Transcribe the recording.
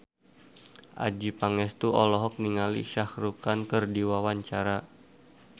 Adjie Pangestu olohok ningali Shah Rukh Khan keur diwawancara